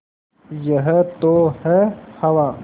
यह तो है हवा